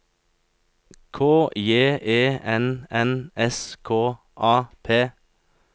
K J E N N S K A P